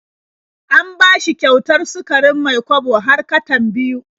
An bashi kyautar sukarin Mai-kwabo har katan biyu.